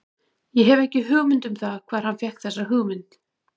Ég hef ekki hugmynd um það hvar hann fékk þessa hugmynd.